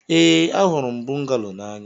Ee, ahụrụ m bungalo n'anya.